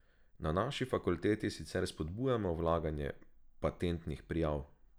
Na naši fakulteti sicer spodbujamo vlaganje patentnih prijav.